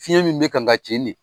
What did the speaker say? Fiɲɛ min bɛ kan ka ci ni.